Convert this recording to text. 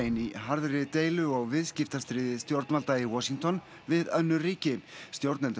í harðri deilu og viðskiptastríði stjórnvalda í Washington við önnur ríki stjórnendur